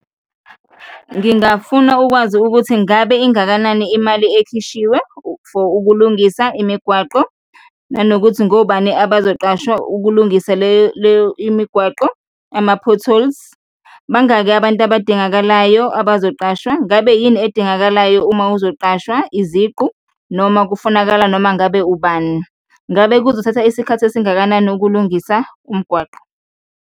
Ngingafuna ukwazi ukuthi ngabe ingakanani imali ekhishiwe for ukulungisa imigwaqo nanokuthi ngobani abazoqashwa ukulungisa le leyo imigwaqo, ama-potholes? Bangaki abantu abadingakalayo abazoqashwa? Ngabe yini edingakalayo uma uzoqashwa, iziqu noma kufunakala noma ngabe ubani? Ngabe kuzothatha isikhathi esingakanani ukulungisa umgwaqo?